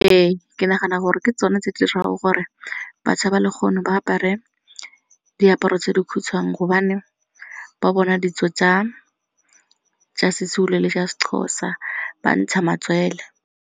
Ee ke nagana gore ke tsone tse dirang gore batsha ba legono ba apare diaparo tse di khutshwane gobane ba bona ditso tsa seZulu le tsa seXhosa ba ntsha matswele.